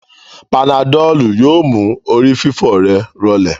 Panadọ́lù yóò mú orí fífọ́ rẹ̀ rọlẹ̀